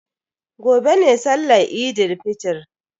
Gobe ne sallan Eid fitr.